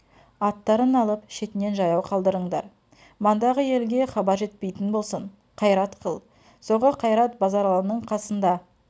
аттарын алып шетінен жаяу қылдырыңдар мандағы елге хабар жетпейтін болсын қайрат қыл соңғы қайрат базаралының қасында